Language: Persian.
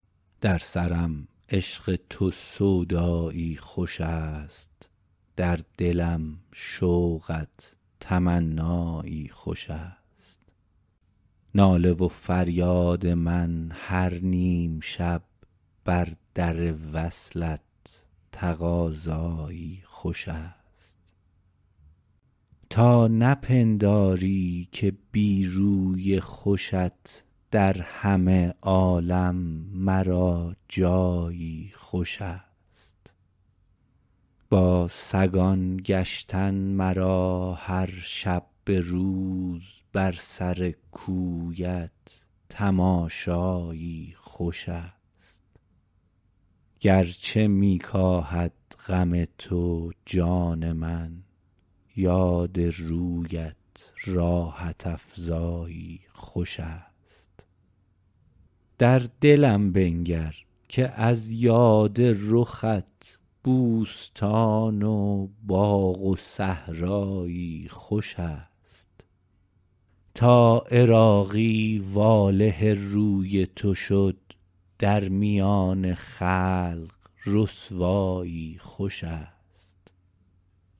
در سرم عشق تو سودایی خوش است در دلم شوقت تمنایی خوش است ناله و فریاد من هر نیم شب بر در وصلت تقاضایی خوش است تا نپنداری که بی روی خوشت در همه عالم مرا جایی خوش است با سگان گشتن مرا هر شب به روز بر سر کویت تماشایی خوش است گرچه می کاهد غم تو جان من یاد رویت راحت افزایی خوش است در دلم بنگر که از یاد رخت بوستان و باغ و صحرایی خوش است تا عراقی واله روی تو شد در میان خلق رسوایی خوش است